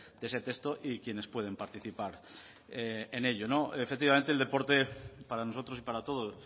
de ese texto y quienes pueden participar en ello efectivamente el deporte para nosotros y para todos